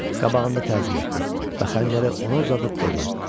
Qabağında təzim etdi və xəncəri ona uzadıb dedi: